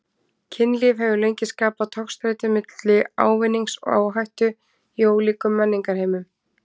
Kynlíf hefur lengi skapað togstreitu milli ávinnings og áhættu í ólíkum menningarheimum.